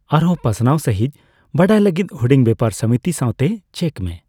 ᱟᱨᱦᱚᱸ ᱯᱟᱥᱱᱟᱣ ᱥᱟᱹᱦᱤᱡᱽ ᱵᱟᱲᱟᱭ ᱞᱟᱹᱜᱤᱫ ᱦᱩᱰᱤᱧ ᱵᱮᱯᱟᱨ ᱥᱚᱢᱤᱛᱤ ᱥᱟᱣᱛᱮ ᱪᱮᱠ ᱢᱮ ᱾